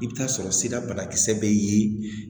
I bɛ taa sɔrɔ sira banakisɛ bɛ ye